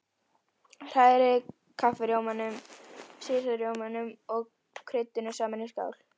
Hrærið kaffirjómanum, sýrða rjómanum og kryddinu saman í skál.